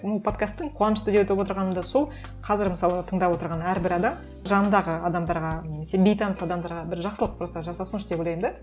м подкасттың қуанышты деп отырғаным да сол қазір мысалы тыңдап отырған әрбір адам жанындағы адамдарға немесе бейтаныс адамдарға бір жақсылық просто жасасыншы деп ойлаймын да